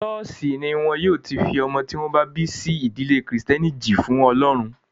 Ṣọ́ọ̀ṣì ní wọn yóò ti fi ọmọ tí wọ́n bí sí ìdílé kìrìtẹ́nì jì fún ọlọ́run.